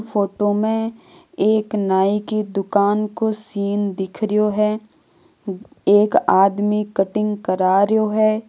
फोटो में एक नाई की दुकान को सीन दिखरो हैं एक आदमी कटिंग करा रो है।